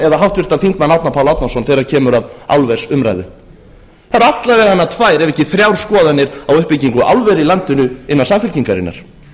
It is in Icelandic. eða háttvirtum þingmanni árna pál árnason þegar kemur að álversumræðu það eru alla vega tvær ef ekki þrjár skoðanir á uppbyggingu álvera í landinu innan samfylkingarinnar